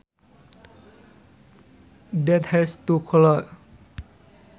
that has two colours